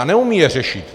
A neumí je řešit.